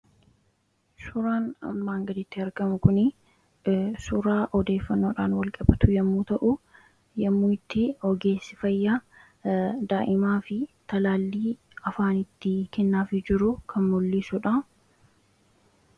Suuraan armaan gadiitti argamu kun suuraa odeeffannoodhaan wal qabatu yommuu ta'u, kunis ogeessi fayyaa yommuu itti daa'imaaf talaallii afaanitti kennaafii jiru kan mul'isudha